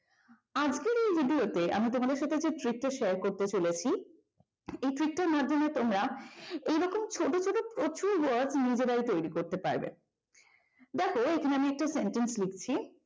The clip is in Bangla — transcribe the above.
এই ভিডিওতে আমি তোমাদের সাথে যে trick share করতে চলেছি এই trick টার মাধ্যমে তোমরা এরকম ছোট ছোট প্রচুর word নিজেরাই তৈরি করতে পারবে দেখো এখানে আমি একটা sentence লিখছি